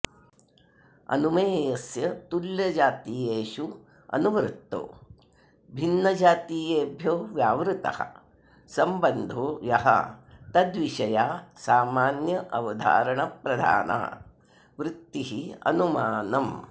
अनुमेयस्य तुल्यजातीयेष्वनुवृत्तो भिन्नजातीयेभ्यो व्यावृत्तः सम्बन्धो यस्तद्विषया सामान्यावधारणप्रधाना वृत्तिरनुमानम्